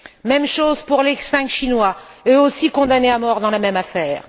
Même chose pour les cinq Chinois, eux aussi condamnés à mort dans la même affaire.